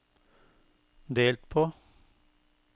delt på